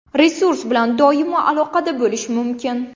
Resurs bilan doimo aloqada bo‘lish mumkin.